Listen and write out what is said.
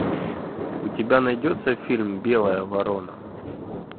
у тебя найдется фильм белая ворона